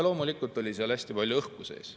Loomulikult oli seal hästi palju õhku sees.